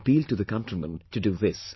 I appeal to the countrymen to do this